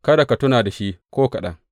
Kada ka tuna da shi ko kaɗan.